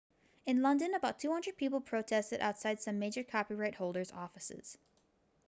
in london about 200 people protested outside some major copyright holders' offices